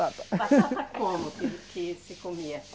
Batata como que, que se comia?